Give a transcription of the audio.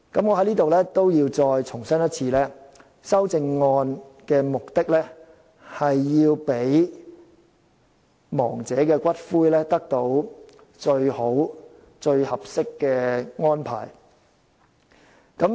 我在此要再次重申，修正案的目的是要讓亡者的骨灰獲得最好、最合適的安排。